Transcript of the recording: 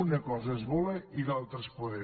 una cosa és voler i l’altra és poder